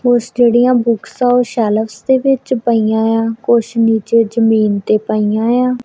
ਕੁਛ ਜਿਹੜੀਆਂ ਬੁੱਕਸ ਐ ਉਹ ਸ਼ੈਲਫ਼ਸ ਦੇ ਵਿੱਚ ਪਾਈਆਂ ਏ ਆ ਕੁਛ ਨੀਚੇ ਜਮੀਨ ਤੇ ਪਈਆਂ ਏ ਆ।